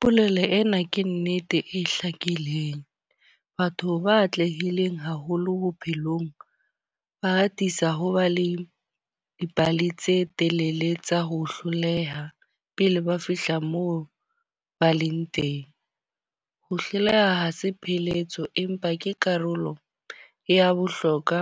Polelo ena ke nnete e hlakileng. Batho ba atlehileng haholo bophelong. Ba atisa ho ba le dipale tse telele tsa ho hloleha pele ba fihla moo ba leng teng. Ho hloleha ha se pheletso empa ke karolo ya bohlokwa